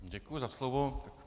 Děkuji za slovo.